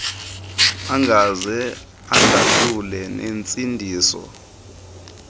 engaze indahlule nentsindiso